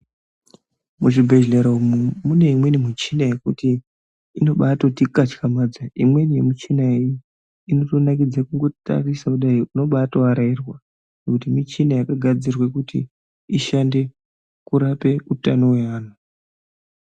Muzvibhedhlera umo mune imweni michina yekuti inobatoti katyamadza imweni yemuchina iyi inotonakidze kungotarisa inodai wobatoarairwa ngekuti mishina yakagadzirwa kuti ishande kurape utano hweanhu.